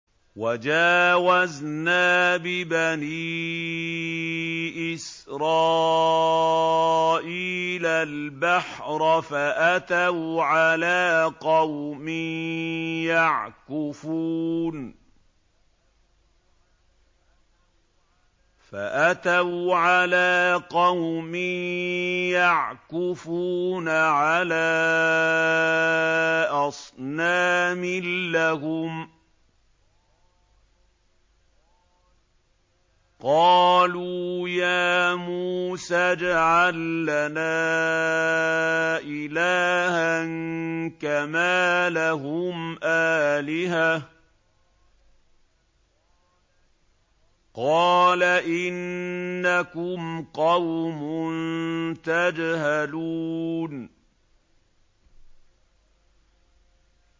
وَجَاوَزْنَا بِبَنِي إِسْرَائِيلَ الْبَحْرَ فَأَتَوْا عَلَىٰ قَوْمٍ يَعْكُفُونَ عَلَىٰ أَصْنَامٍ لَّهُمْ ۚ قَالُوا يَا مُوسَى اجْعَل لَّنَا إِلَٰهًا كَمَا لَهُمْ آلِهَةٌ ۚ قَالَ إِنَّكُمْ قَوْمٌ تَجْهَلُونَ